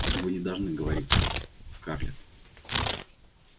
вы не должны говорить так скарлетт